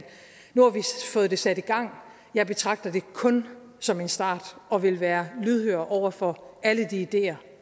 nu har vi fået det sat i gang og jeg betragter det kun som en start og vil være lydhør over for alle de ideer